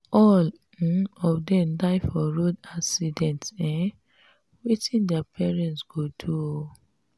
all um of dem die for road accident. um wetin their parents go do um.